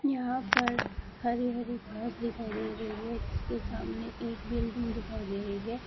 यहां पर हरी हरी घास दिखाई दे रही है जिसके सामने एक बिल्डिंग दिखाई दे रही है।